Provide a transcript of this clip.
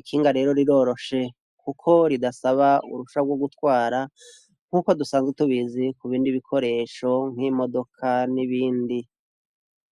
ikinga rero riroroshe kuko ridasaba uruhusha rwo gutwara, nkuko dusanzwe tubizi kubindi bikoresho nk'imodoka n'ibindi.